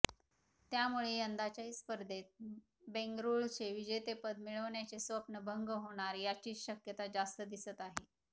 त्यामुळे यंदाच्याही स्पर्धेत बेंगळुरूचे विजेतेपद मिळवण्याचे स्वप्न भंग होणार याचीच शक्यता जास्त दिसत आहे